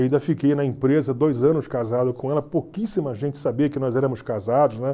Ainda fiquei na empresa dois anos casado com ela, pouquíssima gente sabia que nós éramos casados, né?